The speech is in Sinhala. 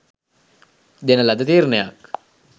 දෙන ලද තීරණයක්